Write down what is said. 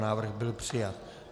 Návrh byl přijat.